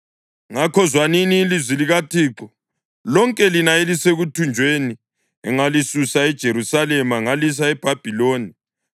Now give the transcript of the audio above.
Ngakho, zwanini ilizwi likaThixo, lonke lina elisekuthunjweni engalisusa eJerusalema ngalisa eBhabhiloni.